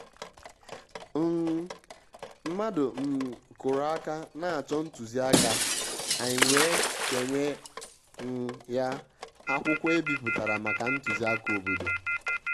um mmàdụ̀ um kụ́rụ̀ áká n’á chọ́ ntùzìáká ànyị́ wèé ké nyé um yá ákwụ́kwọ́ èbípụ̀tàrà màkà ntùzìáká òbòdò.